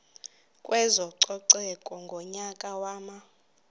kwezococeko ngonyaka wama